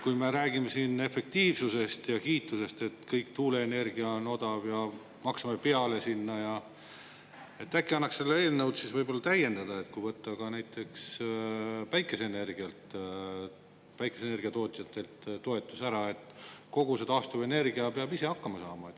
Kui me räägime siin efektiivsusest ja kiitusest, et kogu tuuleenergia on odav, ja maksame sinna peale, siis äkki annaks seda eelnõu täiendada nii, et võtta näiteks ka päikeseenergia tootjatelt toetus ära, nii et kõik taastuvenergia peavad ise hakkama saama.